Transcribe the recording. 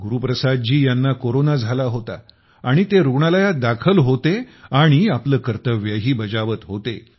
गुरुप्रसाद जी यांना कोरोना झाला होता आणि ते रुग्णालयात दाखल होते आणि आपले कर्तव्यही बजावत होते